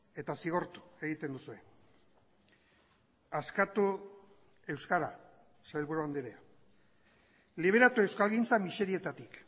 eta zigortu egiten duzue askatu euskara sailburu andrea liberatu euskalgintza miserietatik